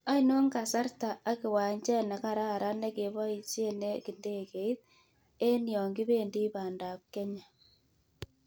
Ainon kasarrta ak kiwanchet ne kararan negeboisien ak ndegeiit eng' yonkibendi pandaap Kenya